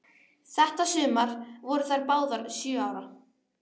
Þetta sumar voru þær báðar sjö ára.